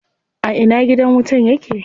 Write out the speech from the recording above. A ina gidan wutan yake?